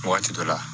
Waati dɔ la